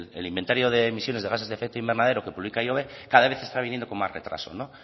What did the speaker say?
el inventario de emisiones de gases de efecto invernadero que publica ihobe cada vez está viniendo con más retraso